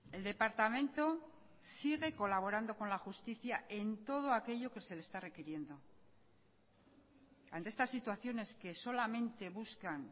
el departamento sigue colaborando con la justicia en todo aquello que se le está requiriendo ante estas situaciones que solamente buscan